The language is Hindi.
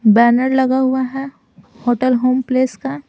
बैनर लगा हुआ है होटल होम प्लेस का--